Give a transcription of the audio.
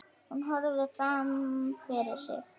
Hún horfir fram fyrir sig.